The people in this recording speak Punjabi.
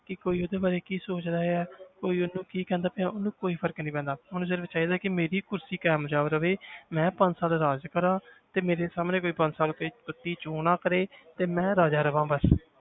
ਕਿ ਕੋਈ ਉਹਦੇ ਬਾਰੇ ਕੀ ਸੋਚਦਾ ਹੈ ਕੋਈ ਉਹਨੂੰ ਕੀ ਕਹਿੰਦਾ ਪਿਆ ਉਹਨੂੰ ਕੋਈ ਫ਼ਰਕ ਨੀ ਪੈਂਦਾ ਉਹਨੂੰ ਸਿਰਫ਼ ਚਾਹੀਦਾ ਕਿ ਮੇਰੀ ਕੁਰਸੀ ਕਾਮਯਾਬ ਰਵੇ ਮੈਂ ਪੰਜ ਸਾਲ ਰਾਜ ਕਰਾਂ ਤੇ ਮੇਰੇ ਸਾਹਮਣੇ ਕੋਈ ਪੰਜ ਸਾਲ ਕੋਈ ਮਤਲਬ ਕਿ ਚੂੰ ਨਾ ਕਰੇ ਤੇ ਮੈਂ ਰਾਜਾ ਰਵਾਂ ਬਸ